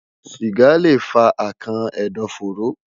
Siga le fa akàn ẹdọfóró